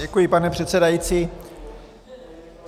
Děkuji, pane předsedající.